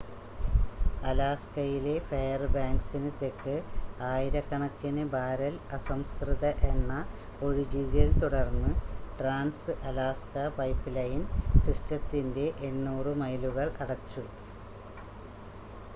അലാസ്കയിലെ ഫെയർബാങ്ക്‌സിന് തെക്ക് ആയിരക്കണക്കിന് ബാരൽ അസംസ്കൃത എണ്ണ ഒഴുകിയതിനെ തുടർന്ന് ട്രാൻസ്-അലാസ്ക പൈപ്പ്‌ലൈൻ സിസ്റ്റത്തിൻ്റെ 800 മൈലുകൾ അടച്ചു